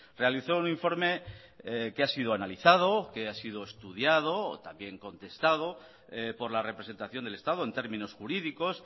realizó un informe que ha sido analizado que ha sido estudiado también contestado por la representación del estado en términos jurídicos